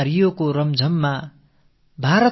Rio தந்திடும் ஆனந்தத்தில்